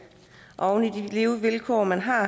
og oven i de levevilkår man har